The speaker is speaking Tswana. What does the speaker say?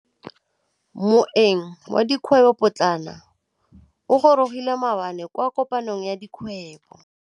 Moêng wa dikgwêbô pôtlana o gorogile maabane kwa kopanong ya dikgwêbô.